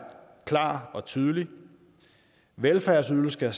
klar og tydelig velfærdsydelser